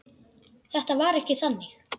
Þetta var ekki þannig.